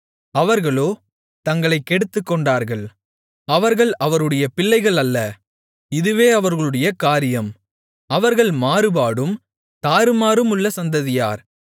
அவர்களோ தங்களைக் கெடுத்துக்கொண்டார்கள் அவர்கள் அவருடைய பிள்ளைகள் அல்ல இதுவே அவர்களுடைய காரியம் அவர்கள் மாறுபாடும் தாறுமாறுமுள்ள சந்ததியார்